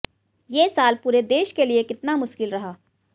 ये साल पूरे देश के लिए कितना मुश्किल रहा